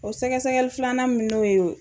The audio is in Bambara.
O sɛgɛsɛgɛli filanan min n'o ye o